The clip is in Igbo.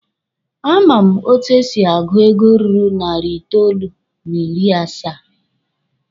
A ma m etu e si agụ ego ruru narị itoolu n'ịrị asaa.